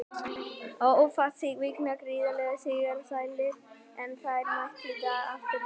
Ólafsvíkingar eru gríðarlega sigursælir, en þeir mæta í dag Aftureldingu.